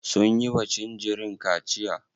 Sun yiwa jinjirin kaciya?